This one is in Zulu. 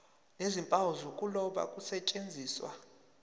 nezimpawu zokuloba kusetshenziswe